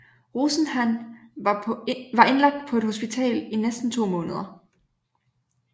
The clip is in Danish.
Rosenhan var indlagt på et hospital i næsten to måneder